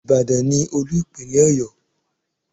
Ìbàdàn ni Olú Ìpínlẹ̀ Ọ̀yọ́.